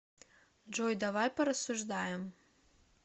джой давай порассуждаем